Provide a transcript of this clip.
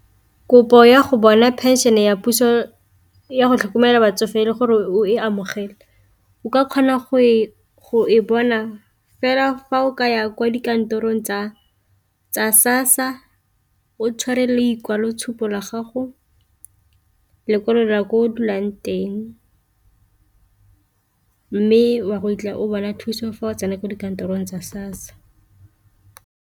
Kopo ya go bona pension ya puso yago tlhokomela batsofe le gore o e amogele o ka kgona go e bona fela fa o ka ya kwa dikantorong tsa SASSA o tshware lekwaloitshupo la gago, lekwalo la ko o dulang teng, mme wa go fitlha o bona thuso fa o tsena ko dikantorong tsa SASSA.